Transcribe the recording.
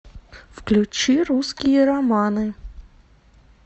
включи русские романы